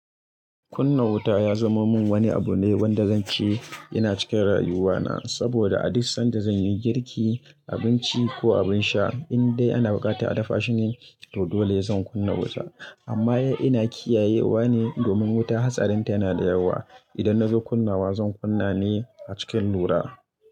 Kunna wuta ya zama min wani abu ne wanda zan ce yana cika rayuwana. Saboda a duk sanda zan yi girki, abinci ko abin sha, in dai ana buƙatar a dafa shine, to dole zan kunna wuta. Amma ina kiyayewa ne domin wuta hatsarinta yana da yawa. Idan nazo kunnawa zan kunna ne a cikin lura.